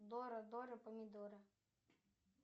дора дора помидора